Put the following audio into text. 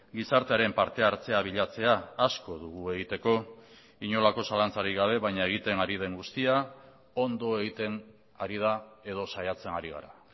gizartearen parte hartzea bilatzea asko dugu egiteko inolako zalantzarik gabe baina egiten ari den guztia ondo egiten ari da edo saiatzen ari gara